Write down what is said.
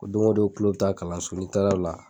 Ko don go don kulo bi taa kalanso, ni taara o la.